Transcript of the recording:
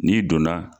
N'i donna